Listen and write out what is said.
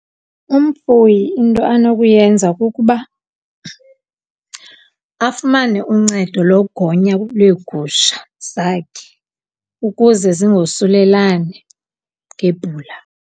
Umfuyi into anokuyenza kukuba afumane uncedo logonya lwegusha zakhe ukuze zingosulelani ngebhula.